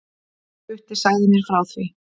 Gutti sagði mér frá því.